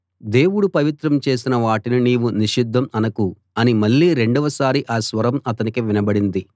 దేవుడు పవిత్రం చేసిన వాటిని నీవు నిషిద్ధం అనకు అని మళ్ళీ రెండవసారి ఆ స్వరం అతనికి వినబడింది